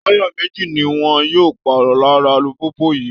Táyà méjì ni wọn yóò pààrọ̀ lára alùpùpù yìí